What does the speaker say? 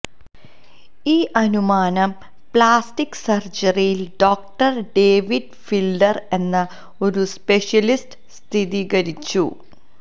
ഈ അനുമാനം പ്ലാസ്റ്റിക് സർജറിയിൽ ഡോക്ടർ ഡേവിഡ് ഫിൽഡർ എന്ന ഒരു സ്പെഷ്യലിസ്റ്റ് സ്ഥിരീകരിച്ചു